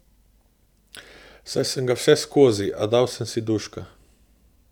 Saj sem ga vseskozi, a dal sem si duška.